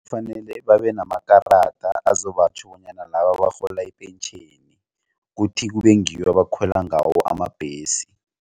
Kufanele babe namakarada azobatjho bonyana laba barhola ipentjheni kuthi kube ngiwo abakhwela ngawo amabhesi.